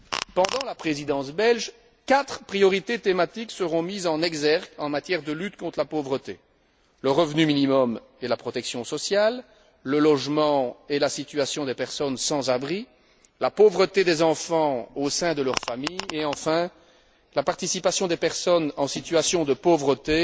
Pendant la Présidence belge, quatre priorités thématiques seront mises en exergue en matière de lutte contre la pauvreté le revenu minimum et la protection sociale, le logement et la situation des personnes sans abri, la pauvreté des enfants au sein de leur famille et enfin, la participation des personnes en situation de pauvreté